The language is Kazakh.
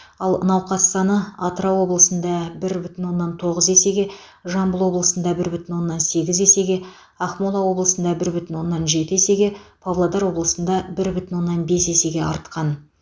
ал науқас саны атырау облысында бір бүтін оннан тоғыз есеге жамбыл облысында бір бүтін оннан сегіз есеге ақмола облысында бір бүтін оннан жеті есеге павлодар облысында бір бүтін оннан бес есеге артқан